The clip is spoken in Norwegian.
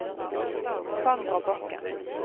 Sandra Bakken